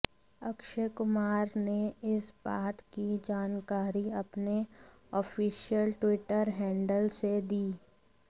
अक्षय कुमार ने इस बात की जानकारी अपने ऑफिशियल ट्विटर हैंडल से दी